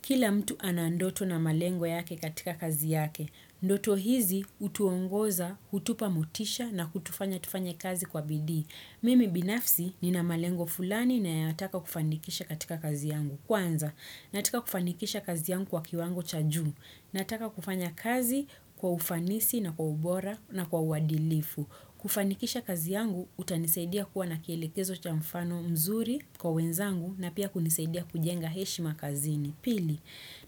Kila mtu ana ndoto na malengo yake katika kazi yake. Ndoto hizi utuongoza, utupa mutisha na kutufanya tufanye kazi kwa bidii Mimi binafsi ni na malengo fulani nayataka kufanikisha katika kazi yangu. Kwanza, nataka kufanikisha kazi yangu kwa kiwango cha juu. Nataka kufanya kazi kwa ufanisi na kwa ubora na kwa uadilifu. Kufanikisha kazi yangu, utanisaidia kuwa na kielekezo cha mfano mzuri kwa wenzangu na pia kunisaidia kujenga heshi makazini. Pili,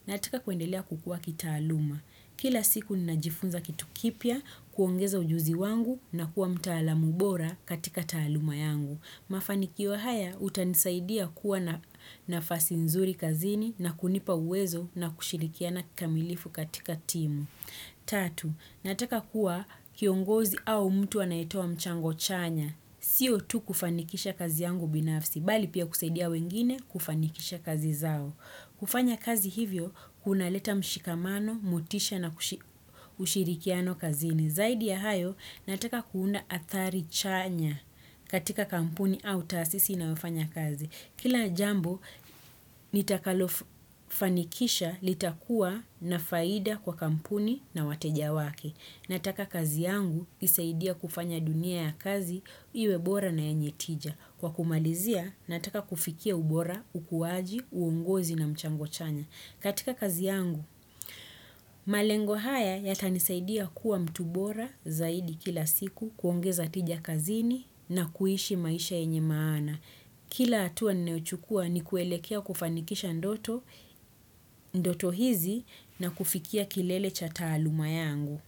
nataka kuendelea kukua kitaaluma. Kila siku ninajifunza kitu kipya, kuongeza ujuzi wangu na kuwa mtaalamubora katika taaluma yangu. Mafanikiwa haya, utanisaidia kuwa nafasi nzuri kazini na kunipa uwezo na kushirikia na kamilifu katika timu. 3. Nataka kuwa kiongozi au mtu anaetoa mchango chanya. Sio tu kufanikisha kazi yangu binafsi, bali pia kusaidia wengine kufanikisha kazi zao. Kufanya kazi hivyo, kunaleta mshikamano, motisha na kushirikiano kazini. Zaidi ya hayo nataka kuunda athari chanya katika kampuni au taasisi na wafanya kazi. Kila jambo nitakalofanikisha litakua na faida kwa kampuni na wateja wake. Nataka kazi yangu isaidie kufanya dunia ya kazi iwebora na yenye tija. Kwa kumalizia nataka kufikia ubora, ukuwaji, uongozi na mchango chanya. Katika kazi yangu, malengo haya yatanisaidia kuwa mtu bora zaidi kila siku kuongeza tija kazini na kuhishi maisha enye maana. Kila hatua naochukua ni kuelekea kufanikisha ndoto hizi na kufikia kilele cha taaluma yangu.